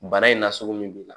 Bana in na sugu min b'i la